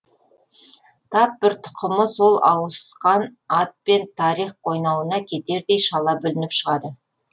тап бір тұқымы сол ауысқан атпен тарих қойнауына кетердей шала бүлініп шығады